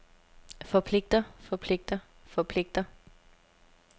forpligter forpligter forpligter